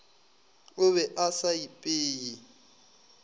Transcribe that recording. o be a sa ipeye